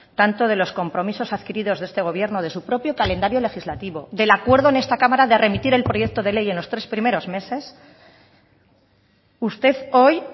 tanto de los compromisos adquiridos de este gobierno de su propio calendario legislativo del acuerdo en esta cámara de remitir el proyecto de ley en los tres primeros meses usted hoy